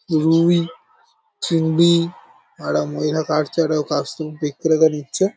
রুই চিংড়ি আর একটা মহিলা কাটছে একটা কাস্টম বিক্রেতা দিচ্ছে ।